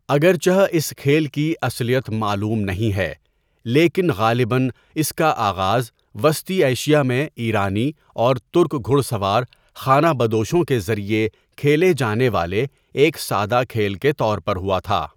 اگرچہ اس کھیل کی اصلیت معلوم نہیں ہے، لیکن غالباً اس کا آغاز وسطی ایشیا میں ایرانی اور ترک گھڑ سوار، خانہ بدوشوں کے ذریعے کھیلے جانے والے ایک سادہ کھیل کے طور پر ہوا تھا۔